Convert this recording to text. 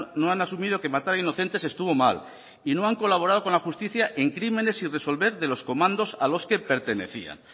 no han asumido que matar inocentes estuvo mal y no han colaborado con la justicia en crímenes sin resolver de los comandos a los que pertenecían